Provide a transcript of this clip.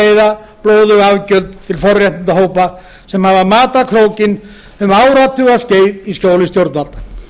þurfa að greiða blóðug afgjöld til forréttindahópa sem hafa makað krókinn um áratugaskeið í skjóli stjórnvalda